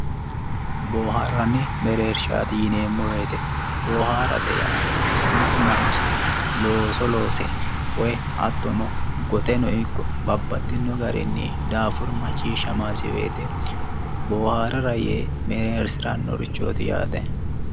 Boohaarranni mereershaati yineemmo woyiite, booharate yaa mittu manchi looso loose woyi hattono goxeno ikko babbaxxinno garinni daafuru macciishshamaasi woyiite booharara yee mereersirannorichooti yaate.